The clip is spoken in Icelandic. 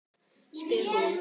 spyr hún.